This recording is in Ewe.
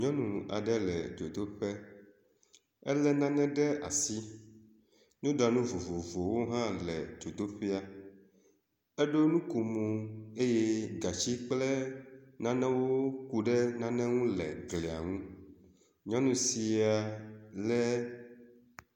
Nyɔnu aɖe le dzodoƒe ele nane ɖe asi. Nuɖanu vovovowo hã le dzodoƒea. Eɖo nukomo eye gatsi kple nanewo ku ɖe nane ŋu le glia ŋu. nyɔnu sia lé